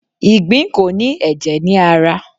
Ìgbín ko ni èjè ni ara